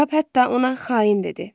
Kap hətta ona xain dedi.